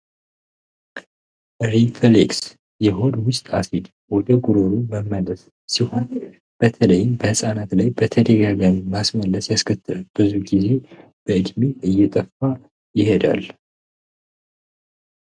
ሪፍሌክስ የሆድ ውስጥ አሲድ ወደ ጉሮሮ የሚያደርስ ሲሆን በተለይም በህጻናት ላይ በተደጋጋሚ ማስመለስ ያስከትላል ብዙ ጊዜ በዕድሜ እየጠፋ ይሄዳል።